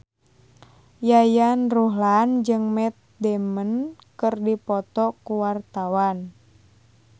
Yayan Ruhlan jeung Matt Damon keur dipoto ku wartawan